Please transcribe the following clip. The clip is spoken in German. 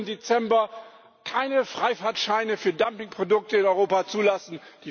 11. Dezember keine Freifahrtscheine für Dumpingprodukte in Europa zulassen.